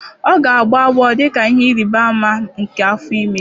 Ọ ga-agbọ agbọọ dị ka ihe ịrịba ama nke afọ ime